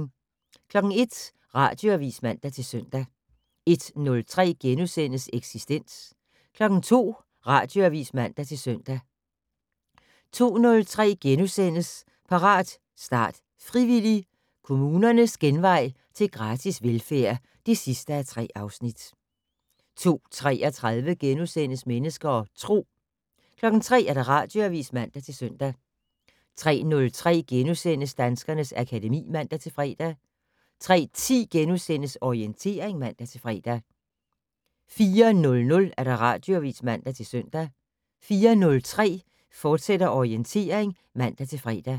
01:00: Radioavis (man-søn) 01:03: Eksistens * 02:00: Radioavis (man-søn) 02:03: Parat, start, frivillig! - Kommunernes genvej til gratis velfærd (3:3)* 02:33: Mennesker og Tro * 03:00: Radioavis (man-søn) 03:03: Danskernes akademi *(man-fre) 03:10: Orientering *(man-fre) 04:00: Radioavis (man-søn) 04:03: Orientering, fortsat (man-fre)